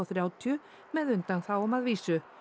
þrjátíu með undanþágum að vísu